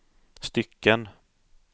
stycken